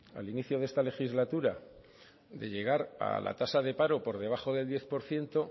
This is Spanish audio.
al inicio de esta legislatura de llegar a la tasa del paro por debajo del diez por ciento